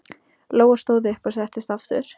Lóa stóð upp og settist aftur.